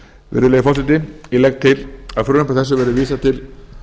virðulegi forseti ég legg til að frumvarpi þessu verði vísað til